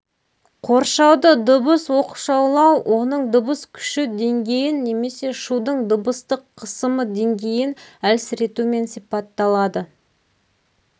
қоршауды дыбыс-оқшаулау оның дыбыс күші деңгейін немесе шудың дыбыстық қысымы деңгейін әлсіретумен сипатталады